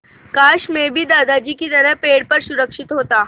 काश मैं भी दादाजी की तरह पेड़ पर सुरक्षित होता